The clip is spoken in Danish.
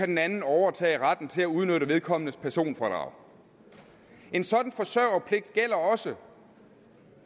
den anden overtage retten til at udnytte vedkommendes personfradrag en sådan forsørgerpligt gælder også